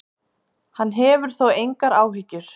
Hann hefur þó engar áhyggjur.